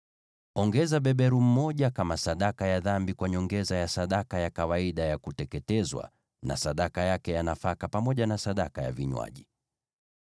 Ongeza beberu mmoja kama sadaka ya dhambi, kwa nyongeza ya sadaka ya kawaida ya kuteketezwa, na sadaka yake ya nafaka, pamoja na sadaka ya vinywaji.